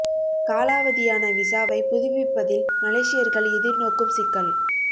காலாவதியான விசாவை புதுப்பிப்பதில் மலேசியர்கள் எதிர்நோக்கும் சிக்கல்